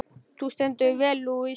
Þú stendur þig vel, Louise!